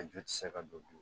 A ju tɛ se ka don bilen